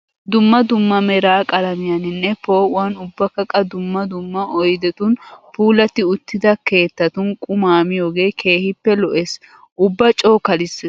Dumma dumma meraa qalamiyaaninne poo"uwaan ubbakka qa dumma summa oyidetun puulatti uttida keettatun qumaa miyoogee keehippe lo"es. Ubba coo kalisses.